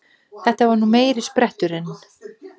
Þetta var meiri spretturinn!